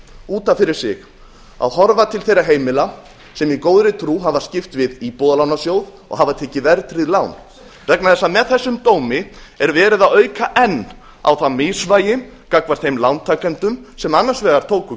út af fyrir sig að horfa til þeirra heimila sem í góðri trú hafa skipt við íbúðalánasjóð og hafa tekið verðtryggð lán vegna þess að með þessum dómi er verið að auka enn á það misvægi gagnvart þeim lántakendum sem annars vegar tóku